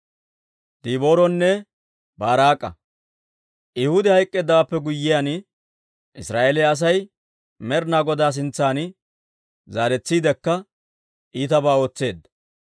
Ehuudi hayk'k'eeddawaappe guyyiyaan, Israa'eeliyaa Asay Med'inaa Godaa sintsan zaaretsiidekka iitabaa ootseedda.